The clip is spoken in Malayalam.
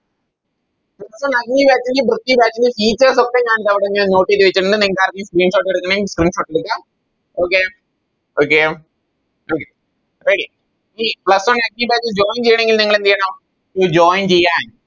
ഇപ്പൊ Batch ലും Briky batch ഒക്കെ ഞാൻ ഇത് നിങ്ങക്കാർക്കെലും Screenshot എടക്കണേ Screenshot എടുക്കാം Okay okay okay ready ഇനി Plus one active batch ൽ Join ചെയ്യണെങ്കിൽ നിങ്ങളെന്തെയ്യണം ഈ Join ചെയ്യാൻ